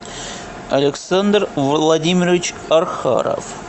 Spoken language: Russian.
александр владимирович архаров